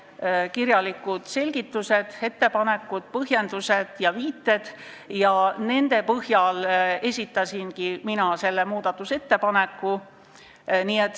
Meil on olemas nende kirjalikud selgitused, ettepanekud, põhjendused ja viited ning nende põhjal esitasingi ma selle muudatusettepaneku.